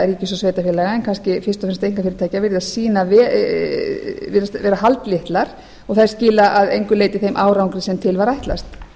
og ríkis og sveitarfélaga en fyrst og fremst einkafyrirtækja virðast vera haldlitlar og þær skila að engu leyti þeim árangri sem til er ætlast